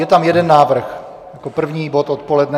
Je tam jeden návrh jako první bod odpoledne.